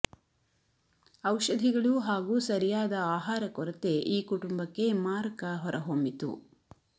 ಔಷಧಿಗಳು ಹಾಗೂ ಸರಿಯಾದ ಆಹಾರ ಕೊರತೆ ಈ ಕುಟುಂಬಕ್ಕೆ ಮಾರಕ ಹೊರಹೊಮ್ಮಿತು